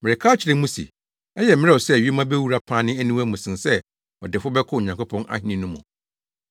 Mereka akyerɛ mo se, ɛyɛ mmerɛw sɛ yoma bewura pane aniwa mu sen sɛ ɔdefo bɛkɔ Onyankopɔn ahenni no mu.”